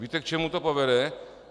Víte, k čemu to povede?